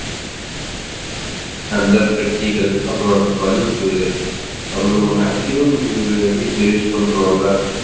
அந்தப் பெட்டிகள் அப்புறம் அந்த bulb அப்புறம் நம்ம maximum வீட்ல use பண்றோம்ல